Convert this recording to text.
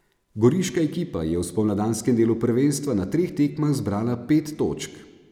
Goriška ekipa je v spomladanskem delu prvenstva na treh tekmah zbrala pet točk.